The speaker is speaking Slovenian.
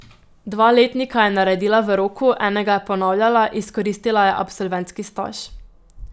Dva letnika je naredila v roku, enega je ponavljala, izkoristila je absolventski staž.